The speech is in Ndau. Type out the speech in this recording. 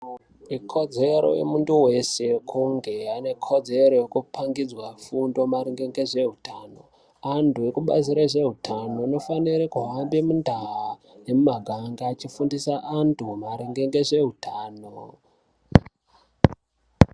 Ikodzero yemuntu vese kunge anekodzero yekupangidzwa fundo maringe ngezvehutano. Antu ekubazi rezvehutano anofanire kuhamba mundaa nemumaganga achifundise antu maringe ngezveutano.